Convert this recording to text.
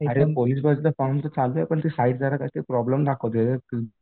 अरे पोलीस भरतीचा फॉर्म तर चालू आहे पण ते साईट कसं प्रॉब्लेम दाखवतीये रे